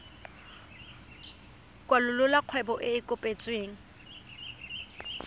kwalolola kgwebo e e kopetsweng